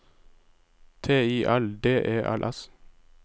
T I L D E L S